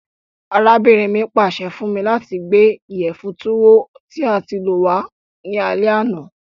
Arábìnrin mi pàse fun mi lati gbé ìyẹ̀fun Tuwo tí a ti lọ̀ wa ni alẹ àná.